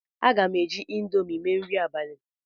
Aga m eji Indomi mee nri abalị